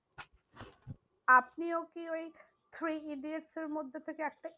আপনিও কি ওই থ্রি ইডিয়টস এর মধ্যে থেকে একটা